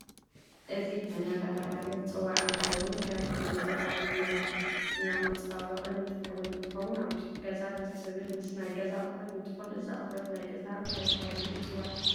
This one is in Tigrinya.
እዚ ፍሕኛ እዳተ በሃለ ዝፅዋዕ እንትከውን ከም ኣመት በዓል፣ ከም መርዓ፣ ክርስትና መፃባበቨቅ ንጥቀመሉ እንትንከውን ኣብ ውሽጢ ገዛ ደስ ዝብ ምስ ናይ ገዛ ኣቁሑት እንትኮን እዚ ኣቁሑት ናይ ገዛ እንታይ ተባሂሉ ይፅዋዕ?